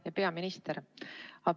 Hea peaminister!